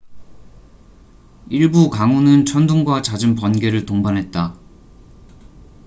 일부 강우는 천둥과 잦은 번개를 동반했다